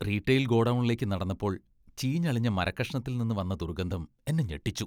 Retail ഗോഡൗണിലേക്ക് നടന്നപ്പോൾ ചീഞ്ഞളിഞ്ഞ മരക്കഷണത്തിൽ നിന്ന് വന്ന ദുർഗന്ധം എന്നെ ഞെട്ടിച്ചു.